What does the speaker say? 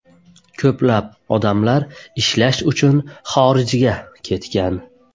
Ko‘plab odamlar ishlash uchun xorijga ketgan.